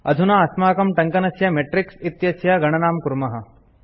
अधुना अस्माकं टङ्कनस्य मैट्रिस इत्यस्य गणनां कुर्मः